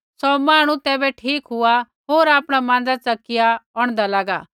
सौ मांहणु तैबै ठीक हुआ होर आपणा माँज़ै च़किया औंढदा लागा